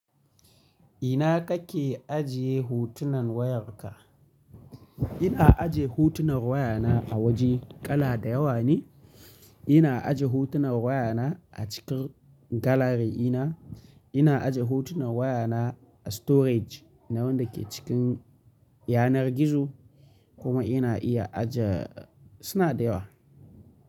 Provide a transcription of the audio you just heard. Ina kake ajiye hutunan wayarka? Ina aje hutunan wayana a waje kala da yawa ne. Ina aje hutunan wayana a cikin galari ina. Ina aje hutunan wayana a storage na wanda ke cikin yanar gizo, kuma ina iya aje suna da yawa.